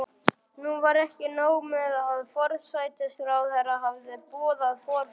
Nú var ekki nóg með að forsætisráðherra hafði boðað forföll.